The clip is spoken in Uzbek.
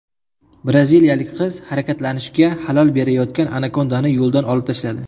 Braziliyalik qiz harakatlanishga xalal berayotgan anakondani yo‘ldan olib tashladi .